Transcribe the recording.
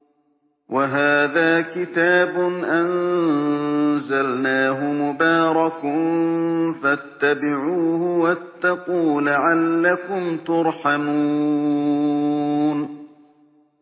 وَهَٰذَا كِتَابٌ أَنزَلْنَاهُ مُبَارَكٌ فَاتَّبِعُوهُ وَاتَّقُوا لَعَلَّكُمْ تُرْحَمُونَ